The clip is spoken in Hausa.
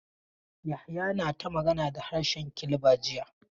Yahaya na ta magana da harshe Kilba jiya.